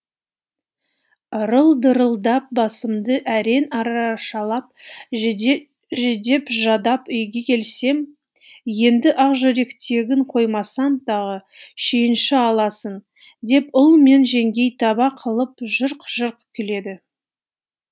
ырыл дырылдап басымды әрең арашалап жүдеп жадап үйге келсем енді ақжүректегіні қоймасаң тағы шүйінші аласың деп ұл мен жеңгең таба қылып жырқ жырқ күледі